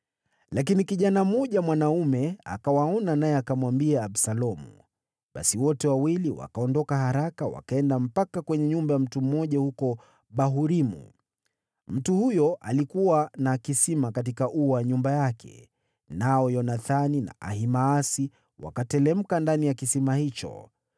Lakini kijana mmoja mwanaume akawaona, naye akamwambia Absalomu. Basi wote wawili wakaondoka haraka, wakaenda mpaka kwenye nyumba ya mtu mmoja huko Bahurimu. Mtu huyo alikuwa na kisima katika ua wa nyumba yake, nao Yonathani na Ahimaasi wakateremka ndani ya kisima hicho.